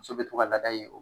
So be to laada ye o